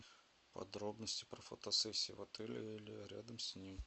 подробности про фотосессии в отеле или рядом с ним